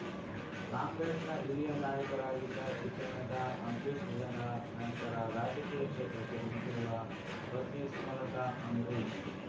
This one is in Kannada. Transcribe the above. ಕಾಂಗ್ರೆಸ್‌ನ ಹಿರಿಯ ನಾಯಕರಾಗಿದ್ದ ಚಿತ್ರನಟ ಅಂಬರೀಷ್ ನಿಧನ ನಂತರ ರಾಜಕೀಯ ಕ್ಷೇತ್ರಕ್ಕೆ ಧುಮುಕಿರುವ ಪತ್ನಿ ಸುಮಲತಾ ಅಂಬರೀಷ್